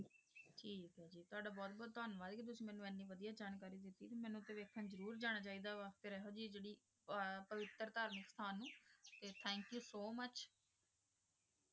ਵੇਖਣ ਜਰੂਰ ਜਾਣਾ ਚੀ ਦਾ ਵਾ ਫੇਰ ਏਹੋ ਜੈ ਜੇਰੀ ਪਵਿਤਰ ਧਾਰਮਿਕ ਅਸਥਾਨ ਨੂ ਤੇ thank you so much